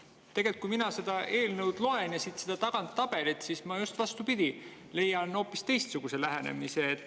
Tegelikult, kui mina seda eelnõu loen ja siit tagant tabelit, siis ma just vastupidi, leian hoopis teistsuguse lähenemise.